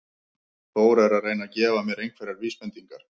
Þór er að reyna að gefa mér einhverjar vísbendingar.